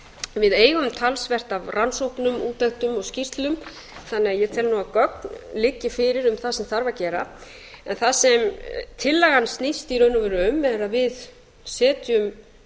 við eigum talsvert af rannsóknum útlendum og skýrslum þannig að ég tel að gögn liggi fyrir um það sem þarf að gera en það sem tillagan snýst í raun og veru um er að við setjum